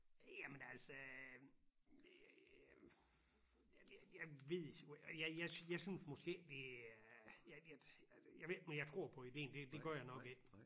Jamen altså jeg ved jo jeg jeg jeg synes måske ikke det er jeg ved ikke om jeg tror på idéen det det gør jeg nok ikke